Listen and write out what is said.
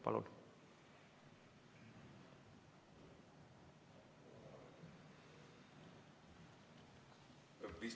Palun!